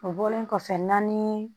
O bɔlen kɔfɛ naani